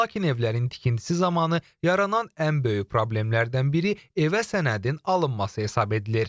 Lakin evlərin tikintisi zamanı yaranan ən böyük problemlərdən biri evə sənədin alınması hesab edilir.